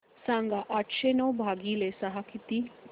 सांगा आठशे नऊ भागीले सहा किती